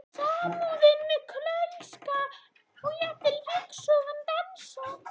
Samúðin með Kölska og jafnvel ryksugan dansar.